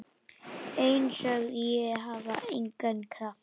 Einsog ég hafi engan kraft.